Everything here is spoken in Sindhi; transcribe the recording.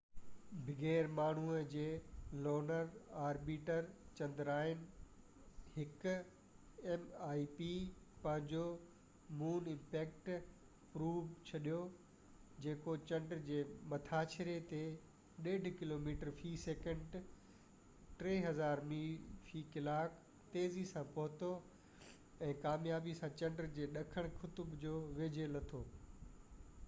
بغير ماڻهو جي لونر آربيٽر چندرائن-1 پنهنجو مون امپيڪٽ پروب mip ڇڏيو، جيڪو چنڊ جي مٿاڇري تي 1.5 ڪلوميٽر في سيڪنڊ 3000 ميل في ڪلاڪ تيزي سان پهتو، ۽ ڪاميابي سان چنڊ جي ڏکڻ قطب جي ويجهو لٿو